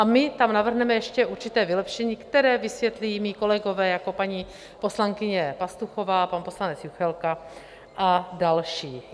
A my tam navrhneme ještě určité vylepšení, které vysvětlí mí kolegové, jako paní poslankyně Pastuchová, pan poslanec Juchelka a další.